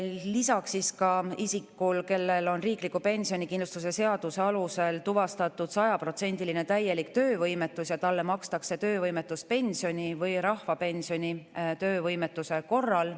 Lisaks, isikule, kellel on riikliku pensionikindlustuse seaduse alusel tuvastatud sajaprotsendiline ehk täielik töövõimetus, makstakse töövõimetuspensioni või rahvapensioni töövõimetuse korral.